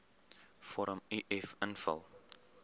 vorm uf invul